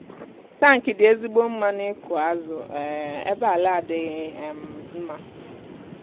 tankị dị ezigbo mma n'ịkụ azụ um ebe ala adịghị um mma